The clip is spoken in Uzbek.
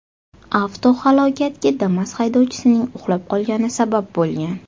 Avtohalokatga Damas haydovchisining uxlab qolgani sabab bo‘lgan.